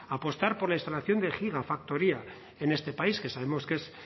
apostar por la instalación de gigafactoría en este país que sabemos que es